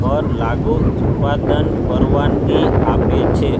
પર લાગુ ઉત્પાદન પરવાનગી આપે છે